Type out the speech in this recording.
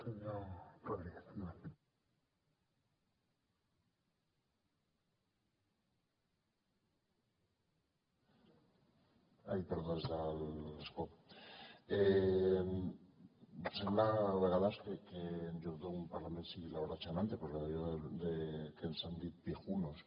sembla a vegades que en lloc d’un parlament sigui la hora chanante per allò que ens han dit viejunos